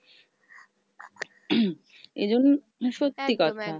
এজন্য সত্যি কথা।